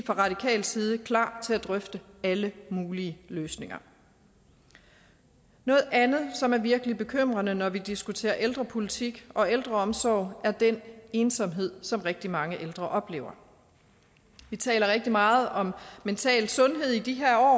fra radikal side klar til at drøfte alle mulige løsninger noget andet som er virkelig bekymrende når vi diskuterer ældrepolitik og ældreomsorg er den ensomhed som rigtig mange ældre oplever vi taler rigtig meget om mental sundhed i de her år